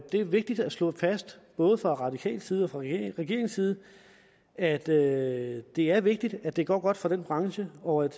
det er vigtigt at slå fast både fra radikal side og fra regeringens side at det det er vigtigt at det går godt for denne branche og at